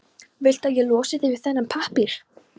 Viltu að ég losi þig við þennan pappír?